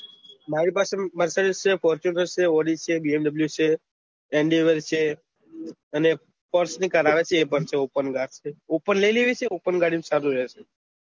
મારી પાસે marcidick fortuner odi vmw પણ છે andival છે અને force ની કાર આવે છે એ પણ છે opencar કાર છે open લઇ લેવી છે એ સારી રેહશે